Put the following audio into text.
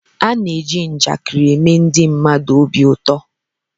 A na-eji njakịrị eme ndị mmadụ obi ụtọ